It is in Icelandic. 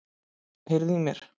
Heyriði í mér?